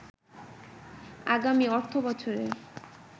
আগামি অর্থবছরে